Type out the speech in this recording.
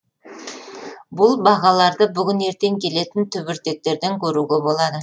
бұл бағаларды бүгін ертең келетін түбіртектерден көруге болады